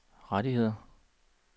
rettigheder